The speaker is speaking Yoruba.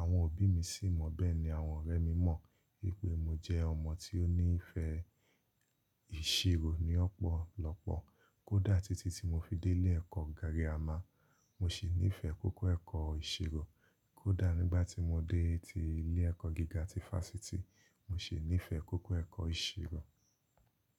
Àwọn òbí mi sì mọ̀ bẹ́ẹ̀ ni àwọn ọ̀rẹ́ mi mọ̀ wípé mo jẹ́ ọmọ tí ó ní ìfẹ́ ìṣirò ni ọ̀pọ̀lọpọ̀. Kó dà títí tí mo fi dé ilé ẹ̀kọ́ girìámà, mo sì nífẹ̀ẹ́ kókó ẹ̀kọ́ ìṣirò. Kó dà nígbà tí mo dé tí ilé ẹ̀kọ́ gíga tí Fásitì, mo sì nífẹ̀ẹ́ kókó ẹ̀kọ́ ìṣirò.